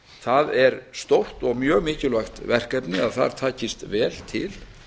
það er stórt og mjög mikilvægt verkefni að þar takist vel til